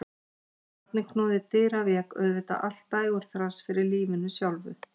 Þegar barnið knúði dyra vék auðvitað allt dægurþras fyrir lífinu sjálfu.